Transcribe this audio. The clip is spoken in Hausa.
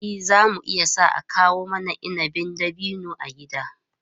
Eh, za mu iya sa a kawo mana inabin dabino a gida.